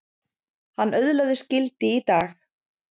Hann öðlast gildi í dag.